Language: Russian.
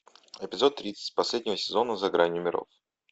эпизод тридцать последнего сезона за гранью миров